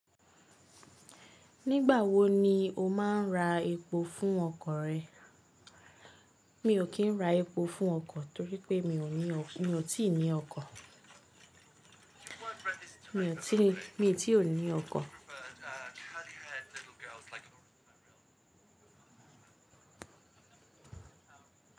Nígbà wo ni o máa ń ra epo fún ọkọ̀ rẹ? Mi ò kí ń ra epo fún ọkọ̀ torí pé mi ò ní, mi ò tí ì ní ọkọ̀. Mi ò tí, mi ò tí ri ní ọkọ̀.